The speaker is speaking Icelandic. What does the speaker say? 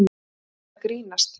Þú ert að grínast?